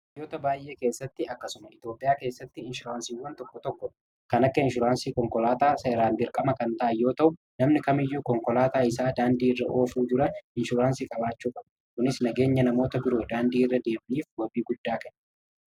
daayyoota baay'ee keessatti akkasuma iitoophiyaa keessatti inshuraansiiwwan tokko tokko kan akka inshuraansii konkolaataa seeraan birqama kan ta'ayyoota'u namni kamiyyuu konkolaataa isaa daandiiirra ofuu jira inshuraansii qabaachuufa kunis nageenya namoota biroo daandiiirra deebniif wabii guddaa kanne